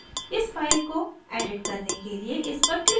इस फ़ाइल को edit करने के लिए इस पर click करें